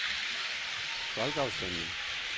folkeafstemning